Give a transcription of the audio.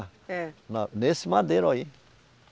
É. Na, nesse madeiro aí.